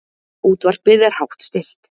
Útvarpið er hátt stillt.